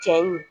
Cɛ in